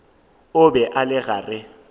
o be a le gare